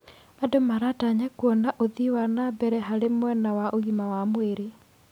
Andũ maratanya kuona ũthii wa na mbere harĩ mwena wa ũgima wa mwĩrĩ.